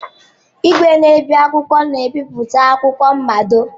Igwe na-ebi akwụkwọ na ebipụta akwụkwọ mmado.